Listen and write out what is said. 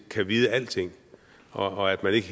kan vide alting og at man ikke